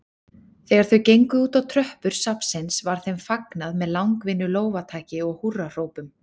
Þegar þau gengu útá tröppur safnsins var þeim fagnað með langvinnu lófataki og húrrahrópum.